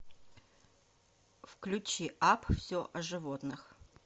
включи апп все о животных